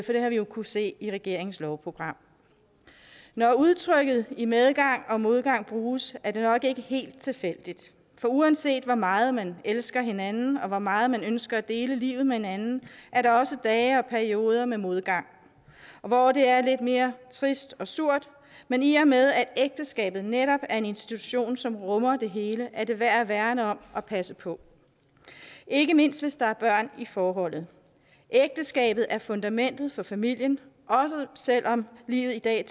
har vi jo kunnet se i regeringens lovprogram når udtrykket i medgang og modgang bruges er det nok ikke helt tilfældigt for uanset hvor meget man elsker hinanden og hvor meget man ønsker at dele livet med hinanden er der også dage og perioder med modgang hvor det er lidt mere trist og surt men i og med at ægteskabet netop er en institution som rummer det hele er det værd at værne om og passe på ikke mindst hvis der er børn i forholdet ægteskabet er fundamentet for familien også selv om livet i dag